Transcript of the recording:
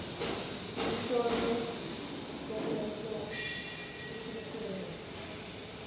luhlolo lwemehlo kusikhungo